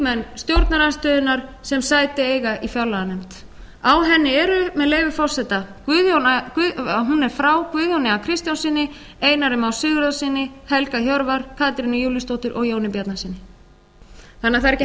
þingmenn stjórnarandstöðunnar sem sæti eiga í fjárlaganefnd á henni eru með leyfi forseta hún er frá guðjóni a kristjánssyni einari má sigurðarsyni helga hjörvar katrínu júlíusdóttur og jóni bjarnasyni það er því ekki